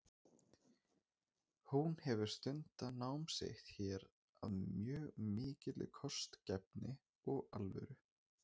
Hún hefur stundað nám sitt hér af mjög mikilli kostgæfni og alvöru.